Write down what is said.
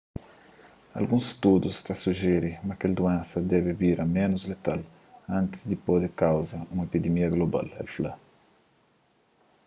alguns studus ta sujiri ma kel duénsa debe bira ménus letal antis di pode kauza un epidimia global el fla